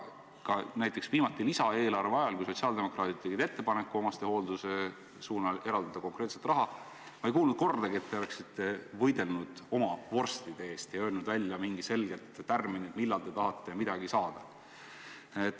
Ka näiteks viimati lisaeelarve ajal, kui sotsiaaldemokraadid tegid ettepaneku eraldada omastehooldusesse konkreetselt raha, ei kuulnud ma kordagi, et te oleksite võidelnud oma vorstide eest ja öelnud välja mingid selged tärminid, millal te tahate midagi saada.